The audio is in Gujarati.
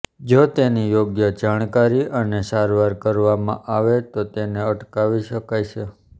જો તેની યોગ્ય જાણકારી અને સારવાર કરવામાં આવે તો તેને અટકાવી શકાય છે